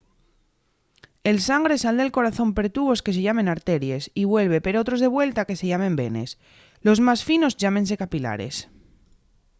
el sangre sal del corazón per tubos que se llamen arteries y vuelve per otros de vuelta que se llamen venes los más finos llámense capilares